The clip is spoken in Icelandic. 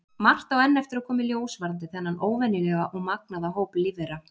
Margt á enn eftir að koma í ljós varðandi þennan óvenjulega og magnaða hóp lífvera.